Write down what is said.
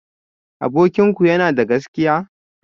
Abokinku yana da gaskiya?